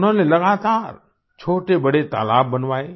उन्होंने लगातार छोटेबड़े तालाब बनवाये